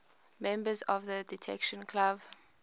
members of the detection club